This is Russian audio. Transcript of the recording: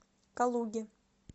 калуге